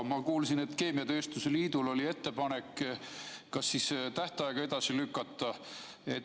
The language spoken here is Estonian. Ma kuulsin, et keemiatööstuse liidul oli ettepanek tähtaega edasi lükata.